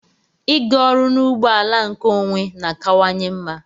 Ịga ọrụ n'ụgbọ ala nkeonwe na-akawanye mma.